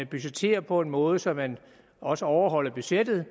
budgettere på en måde så man også overholder budgettet